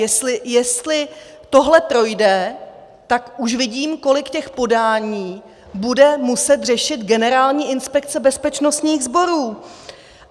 Jestli tohle projde, tak už vidím, kolik těch podání bude muset řešit Generální inspekce bezpečnostních sborů.